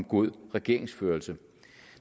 god regeringsførelse